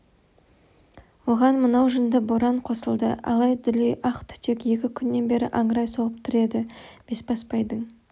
оған мынау жынды боран қосылды алай-дүлей ақ түтек екі күннен бері аңырай соғып тұр еді бесбасбайдың